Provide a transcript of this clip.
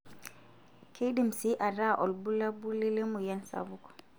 Keidim sii ataa olbulabuli lemoyian sapuk.